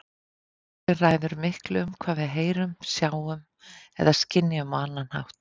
Athyglin ræður miklu um hvað við heyrum, sjáum eða skynjum á annan hátt.